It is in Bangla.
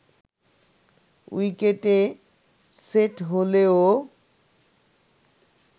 উইকেটে সেট হলেও